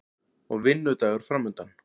Og vinnudagur framundan.